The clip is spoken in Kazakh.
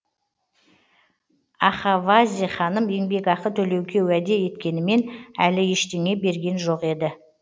ахавази ханым еңбекақы төлеуге уәде еткенімен әлі ештеңе берген жоқ еді